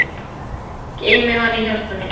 Geymi hana í hjarta mér.